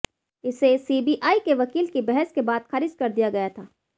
इसे सीबीआई के वकील की बहस के बाद खारिज कर दिया गया था